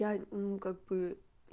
я ну как бы